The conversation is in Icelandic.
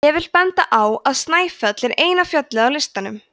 ég vil benda á að snæfell er eina fjallið á listanum